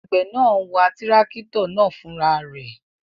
Àgbẹ̀ náà n wa tírákítọ̀ náà fúnra rẹ̀